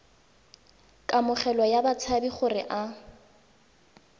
kamogelo ya batshabi gore a